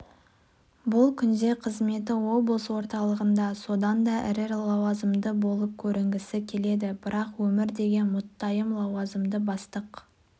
бұл күнде қызметі облыс орталығында содан да ірі лауазымды болып көрінгісі келеді бірақ өмір деген мұттайым лауазымды бастық